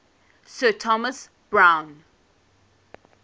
sir thomas browne